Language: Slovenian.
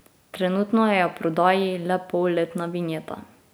Trenutno je v prodaji le polletna vinjeta.